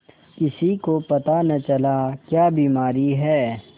किसी को पता न चला क्या बीमारी है